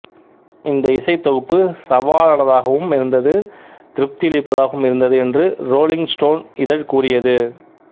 இந்த இசைத்தொகுப்பு சவாலானதாகவும் இருந்தது திருப்தியளிப்பதாகவும் இருந்ததுஎன்று ரோலிங் ஸ்டோன் இதழ் கூறியது